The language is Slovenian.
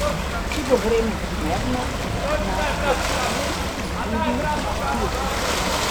Če bo vreme primerno, nas bo Davo zbudil ob štirih.